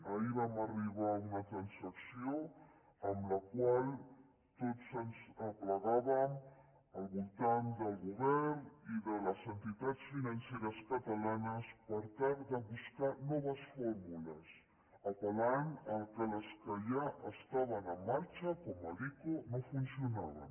ahir vam arribar a una transacció en la qual tots ens aplegàvem al voltant del govern i de les entitats financeres catalanes per tal de buscar noves fórmules apel·lant que les que ja estaven en marxa com l’ico no funcionaven